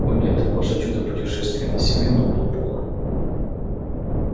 о нет ваш отчёт о путешествии на сивенну был полон